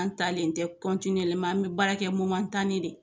An talen tɛ an bɛ baarakɛ de